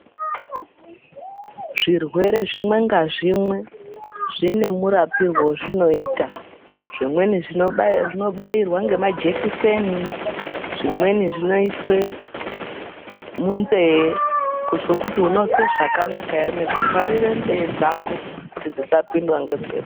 Zvirwere zvimwe nga zvimwe zvine mu rapirwe wezvinoita zvimweni zvino bairwa nge majekiseni zvimweni zvino iswe munze kuzwe kuti unozwe zvakanaka ere nekuvharire nzee dzako kuti dzisa pindwa nge mhepo.